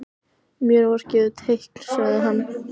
Mér var gefið teikn sagði hann.